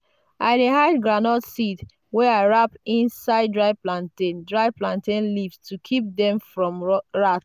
i dey hide groundnut seeds wey i wrap inside dry plantain dry plantain leaves to keep them from rats.